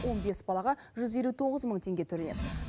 он бес балаға жүз елу тоғыз мың теңге төленеді